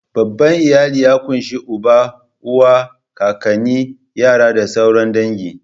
Babban iyali ya ƙunshi uba, uwa, kakanni, yara da sauran dangi.